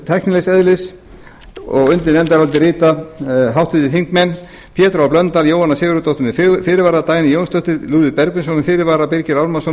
tæknilegs eðlis undir nefndarálitið rita háttvirtir þingmenn pétur h blöndal jóhanna sigurðardóttir með fyrirvara dagný jónsdóttir lúðvík bergvinsson með fyrirvara birgir ármannsson